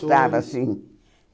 sim.